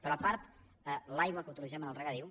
però a part l’aigua que utilitzem en el regadiu